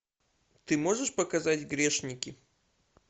ты можешь показать грешники